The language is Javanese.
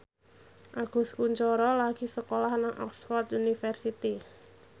Agus Kuncoro lagi sekolah nang Oxford university